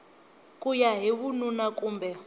ku ya hi vununa kumbe